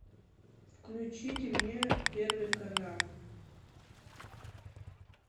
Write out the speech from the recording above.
включите мне первый канал